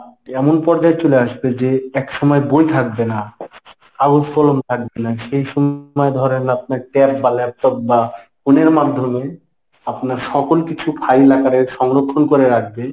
এমন পর্যায়ে চলে আসবে যে একসময় বই থাকবে না। কাগজ-কলম থাকবে না সেই সময় ধরেন আপনের tab বা laptop বা phone এর মাধ্যমে আপনার সকর কিছু file আকারে সংরক্ষণ করে রাখবে।